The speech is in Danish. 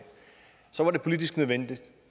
så var det politisk nødvendigt